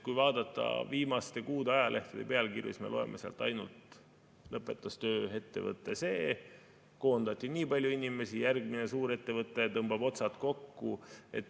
Kui vaadata viimaste kuude ajalehtede pealkirju, siis me loeme sealt ainult: lõpetas töö ettevõte see ja see, koondati nii palju inimesi, järgmine suurettevõte tõmbab otsad kokku.